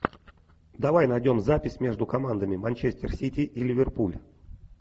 давай найдем запись между командами манчестер сити и ливерпуль